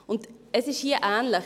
Und hier ist es ähnlich.